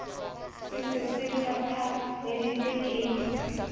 se se se qhaphaleditswe ke